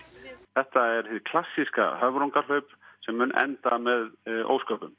þetta er hið klassíska höfrungahlaup sem mun enda með ósköpum